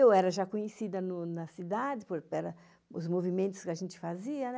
Eu era já conhecida na cidade pelos movimentos que a gente fazia, né?